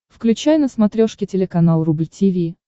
включай на смотрешке телеканал рубль ти ви